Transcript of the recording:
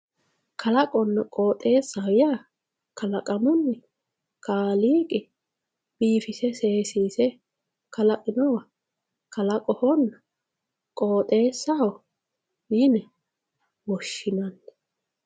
Kalaqonna qoxesaho ya kalaqamunni kaliqi bifise sesise kalaqinowa kalaqoho qoxesaho yine woshinanni